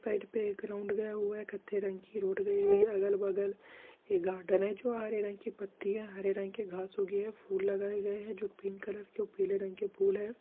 side पे एक रुत गया हुआ है कत्था रंग की रोड लगी हुई है अगल - बगल ये गाडर्न हैं जो हरे रंग की पत्तियां हैं हरे रंग की घास उगी हैं फुल लगाये गई है जो पिंक कलर के पीले रंग के फूल हैं |